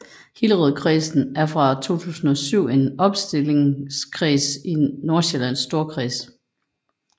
Hillerødkredsen er fra 2007 en opstillingskreds i Nordsjællands Storkreds